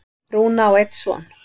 Rúna á einn son.